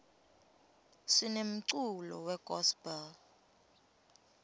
sinemculo we gospel